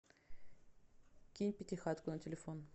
кинь пятихатку на телефон